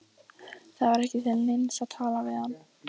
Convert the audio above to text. Það var ekki til neins að tala við hann.